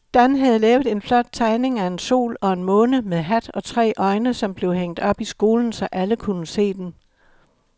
Dan havde lavet en flot tegning af en sol og en måne med hat og tre øjne, som blev hængt op i skolen, så alle kunne se den.